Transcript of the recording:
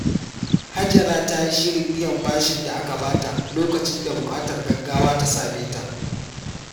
Hajara ta yi shirin biyan bashin da aka bata lokacin da buƙatar gaggawa ta same ta.